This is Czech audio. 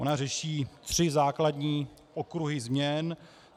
Ona řeší tři základní okruhy změn.